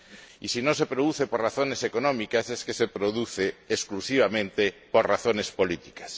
Y si no se produce por razones económicas, es que se produce exclusivamente por razones políticas.